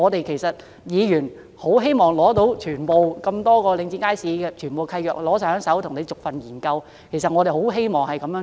其實議員也希望能索取領展轄下所有街市的契約，逐一研究，我們真的很希望能這樣做。